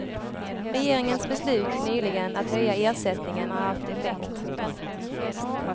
Regeringens beslut nyligen att höja ersättningen har haft effekt.